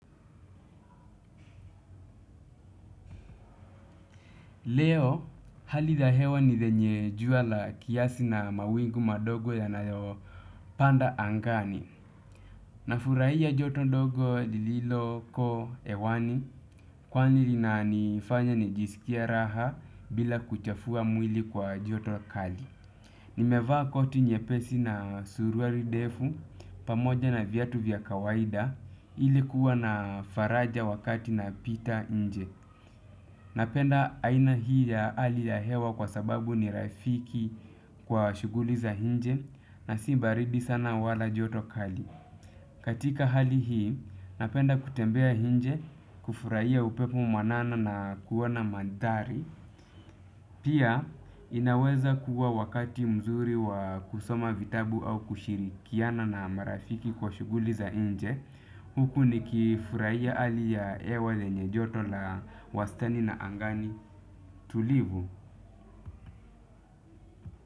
Leo, hali ya hewa ni lenye jua la kiasi na mawingu madogo yanayopanda angani. Nafurahia joto ndogo lililoko hewani, kwani linanifanya nijisikie raha bila kuchafua mwili kwa joto kali. Nimevaa koti nyepesi na suruali ndefu, pamoja na viatu vya kawaida, ili kuwa na faraja wakati napita nje. Napenda aina hii ya hali ya hewa kwa sababu ni rafiki kwa shughuli za nje na si baridi sana wala joto kali. Katika hali hii, napenda kutembea nje kufurahia upepo mwanana na kuona mandhari. Pia, inaweza kuwa wakati mzuri wa kusoma vitabu au kushirikiana na marafiki kwa shughuli za nje. Huku nikifurahia hali ya hewa lenye joto la wastani na angani tulivu.